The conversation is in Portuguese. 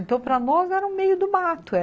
Então, para nós, era o meio do mato.